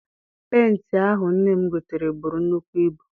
Penti ahụ nne m gotere buru nnukwu ibu.